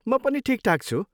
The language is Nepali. म पनि ठिकठाक छु।